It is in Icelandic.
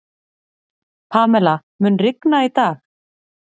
Pamela, mun rigna í dag?